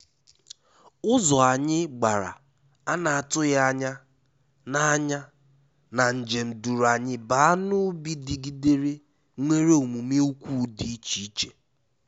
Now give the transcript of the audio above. Ụzọ anyị gbàrà ana-atụghị ányá na ányá na njem duru anyị baa n'ubi digidere nwèrè omume ukwu dị iche iche.